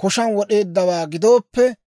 koshaan wod'eeddawaa gidooppe,